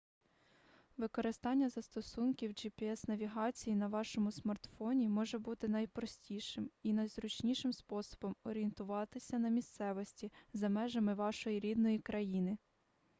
використання застосунків gps-навігації на вашому смартфоні може бути найпростішим і найзручнішим способом орієнтуватися на місцевості за межами вашої рідної країни